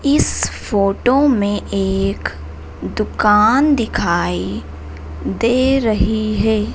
इस फोटो में एक दुकान दिखाई दे रही है।